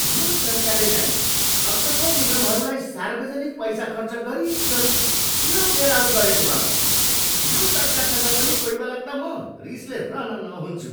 यो सरकारले चाहिँ असफल निगमहरूलाई सार्वजनिक पैसा खर्च गरिगरि किन बेल आउट गरेको, हँ? यो सरकारसँग पनि कोहीबेला त म रिसले रनन हुन्छु।